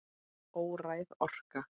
Óræð orka.